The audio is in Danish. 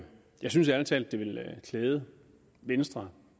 jeg synes ærlig talt det ville klæde venstre